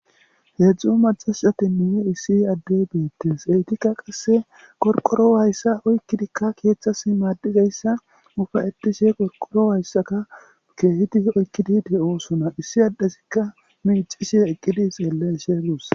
heedzdzu macashcatinneye issi adde beettes eytika qasse qorqoro wayssa oykkidikka keeththas maaddizayssa ufa eddishe qorqoro wayssaka keehidi oykkidi de7osona issi addesikka miicishe eqqidi xeelle sheguus